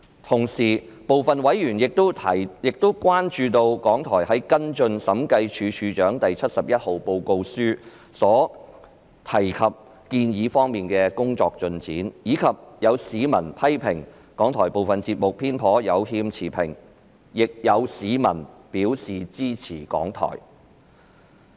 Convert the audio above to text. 同時，部分委員亦關注到港台在跟進《審計署署長第七十一號報告書》所提建議的工作進展，以及有市民批評港台部分節目偏頗和有欠持平，但亦有市民表示支持港台。